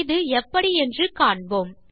இது எப்படி என்று காண்போம்